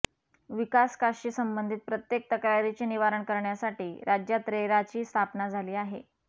विकासकाशी संबंधित प्रत्येक तक्रारीचे निवारण करण्यासाठी राज्यात रेराची स्थापना झाली आहे